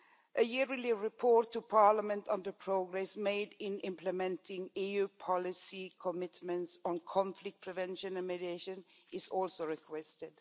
A yearly report to Parliament on the progress made in implementing EU policy commitments on conflict prevention and mediation is also requested.